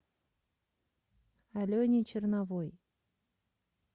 алене черновой